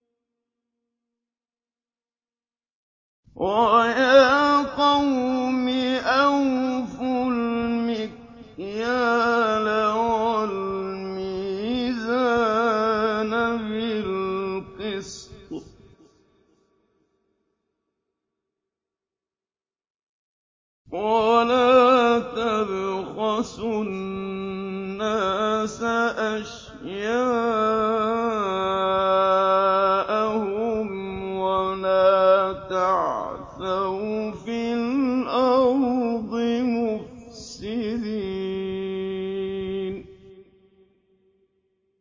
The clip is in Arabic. وَيَا قَوْمِ أَوْفُوا الْمِكْيَالَ وَالْمِيزَانَ بِالْقِسْطِ ۖ وَلَا تَبْخَسُوا النَّاسَ أَشْيَاءَهُمْ وَلَا تَعْثَوْا فِي الْأَرْضِ مُفْسِدِينَ